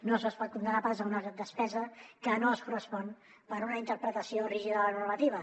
no se’ls pot condemnar pas a una despesa que no es correspon per una interpretació rígida de la normativa